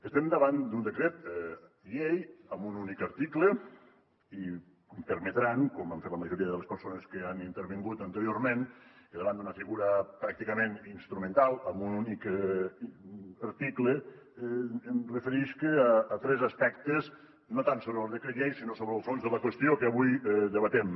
estem davant d’un decret llei amb un únic article i em permetran com han fet la majoria de les persones que han intervingut anteriorment que davant d’una figura pràcticament instrumental amb un únic article em referisca a tres aspectes no tant sobre el decret llei sinó sobre el fons de la qüestió que avui debatem